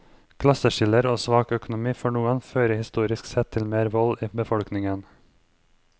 Klasseskiller og svak økonomi for noen fører historisk sett til mer vold i befolkningen.